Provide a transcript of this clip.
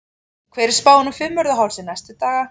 hver er spáin á fimmvörðuhálsi næstu daga